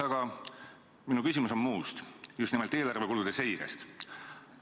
Aga minu küsimus on muust, just nimelt eelarvekulude seirest.